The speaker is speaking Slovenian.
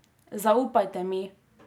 Zaupajte mi.